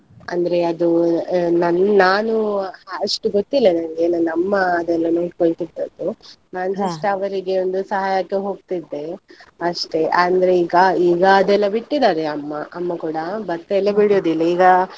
ಅಂದ್ರೆ ಅದು ಆ ನನ್~ ನಾನು ಅಷ್ಟು ಗೊತ್ತಿಲ್ಲ ನನಗೆ, ನನ್ನ ಅಮ್ಮ ಅದೆಲ್ಲ ನೋಡ್ಕೊಳ್ತಾ ಇದ್ದಿದ್ದು, ನಾನ್ ಅವರಿಗೆ ಒಂದು ಸಹಾಯಕ್ಕೆ ಹೋಗ್ತಾ ಇದ್ದೆ, ಅಷ್ಟೇ ಅಂದ್ರೆ ಈಗ ಈಗ ಅದೆಲ್ಲ ಬಿಟ್ಟಿದ್ದಾರೆ ಅಮ್ಮ ಅಮ್ಮ ಕೂಡ ಭತ್ತ ಎಲ್ಲ ಬೆಳೆಯೋದಿಲ್ಲ ಈಗ.